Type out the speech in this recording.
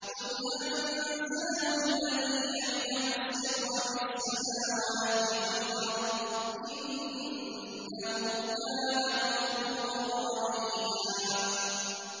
قُلْ أَنزَلَهُ الَّذِي يَعْلَمُ السِّرَّ فِي السَّمَاوَاتِ وَالْأَرْضِ ۚ إِنَّهُ كَانَ غَفُورًا رَّحِيمًا